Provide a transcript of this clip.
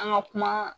An ka kuma